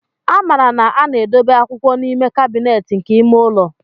A maara na a na-edobe akwụkwọ n'ime kabinet nke ime ụlọ.